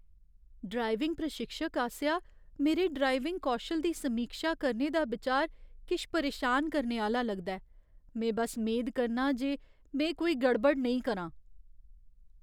Driving प्रशिक्षक आसेआ मेरे ड्राइविंग कौशल दी समीक्षा करने दा बिचार किश परेशान करने आह्‌ला लगदा ऐ। में बस मेद करनां जे में कोई गड़बड़ नेईं करां।